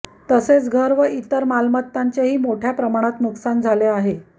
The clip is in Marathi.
तसेच घर व इतर मालमत्तांचे ही मोठ्या प्रमाणात नुकसान झाले आहे